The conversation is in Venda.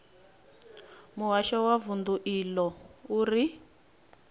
muhasho wa vundu iḽo uri